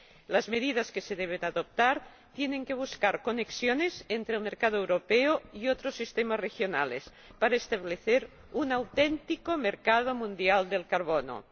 Las medidas que se deben adoptar tienen que buscar conexiones entre el mercado europeo y otros sistemas regionales para establecer un auténtico mercado mundial del carbono.